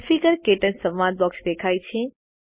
configure - ક્ટચ સંવાદ box દેખાય છે